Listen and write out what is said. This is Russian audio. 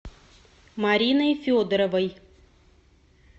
мариной федоровой